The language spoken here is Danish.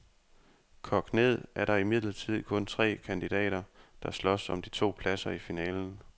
Kogt ned er der imidlertid kun tre kandidater, der slås om de to pladser i finalen.